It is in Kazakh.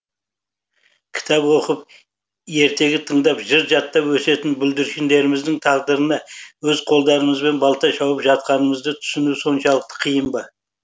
кітап оқып ертегі тыңдап жыр жаттап өсетін бүлдіршіндеріміздің тағдырына өз қолдарымызбен балта шауып жатқанымызды түсіну соншалықты қиын ба